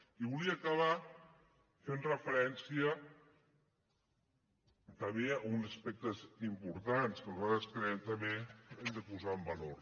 i volia acabar fent referència també a uns aspectes importants que nosaltres creiem també que hem de posar en valor